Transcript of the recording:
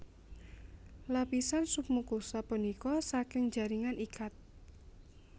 Lapisan submukosa punika saking jaringan ikat